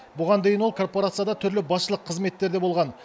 бұған дейін ол корпорацияда түрлі басшылық қызметтерде болған